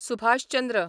Subhash Chandra